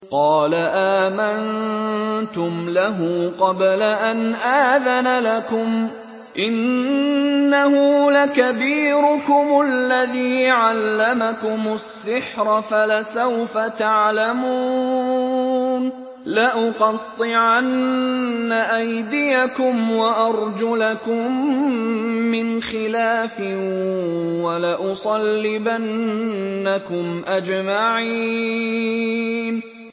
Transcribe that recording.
قَالَ آمَنتُمْ لَهُ قَبْلَ أَنْ آذَنَ لَكُمْ ۖ إِنَّهُ لَكَبِيرُكُمُ الَّذِي عَلَّمَكُمُ السِّحْرَ فَلَسَوْفَ تَعْلَمُونَ ۚ لَأُقَطِّعَنَّ أَيْدِيَكُمْ وَأَرْجُلَكُم مِّنْ خِلَافٍ وَلَأُصَلِّبَنَّكُمْ أَجْمَعِينَ